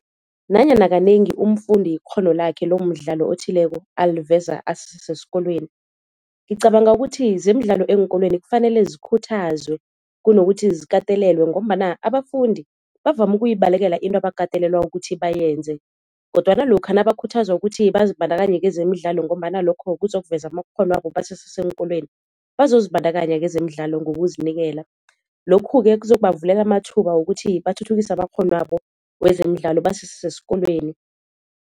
Nanyana kanengi umfundi ikghono lakhe lomdlalo othileko aliveza asese sesikolweni. Ngicabanga ukuthi zemidlalo eenkolweni kufanele zikhuthazwe kunokuthi zikatelelwe ngombana abafundi bavame ukuyibalekela into abakatelelwa ukuthi bayenze, kodwana lokha nabakhuthazwa ukuthi bazibandakanye kezemidlalo ngombana lokho kuzokuveza amakghono wabo basese seenkolweni bazozibandakanya kezemidlalo ngokuzinikela. Lokhu-ke kuzokubavulela amathuba wokuthi bathuthukise amakghono wabo wezemidlalo basese sesikolweni.